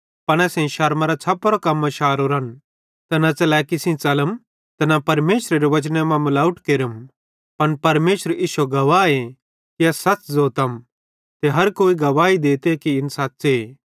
पन असेईं शरमराँ छ़पोरां कम्मां शारोरन ते न च़लैकी सेइं च़लते ते न परमेशरेरे वचन मां मलावट केरम पन परमेशर इश्शो गवाहे कि अस सच़ ज़ोतम ते हर कोई गवाही देते कि इन सच़्च़े